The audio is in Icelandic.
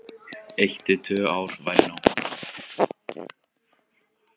Eitt til tvö ár væri nóg.